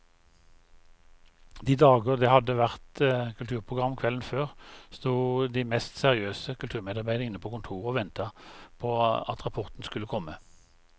De dager det hadde vært kulturprogram kvelden før, sto de mest seriøse kulturmedarbeidere inne på kontoret og ventet på at rapporten skulle komme.